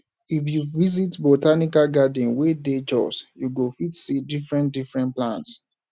if you visit botanical garden wey dey jos you go fit see differentdifferent plants